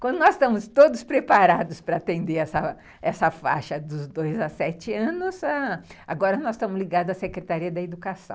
Quando nós estamos todos preparados para atender essa essa faixa dos dois a sete anos, agora nós estamos ligados à Secretaria da Educação.